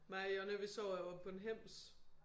Mig og Jonna vi sover jo på en hems